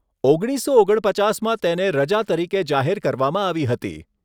ઓગણીસસો ઓગણપચાસમાં તેને રજા તરીકે જાહેર કરવામાં આવી હતી.